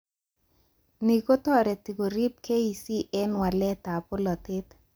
Ni kotoreti korip KEC eng waletab bolatet